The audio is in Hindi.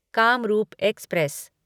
कामरूप एक्सप्रेस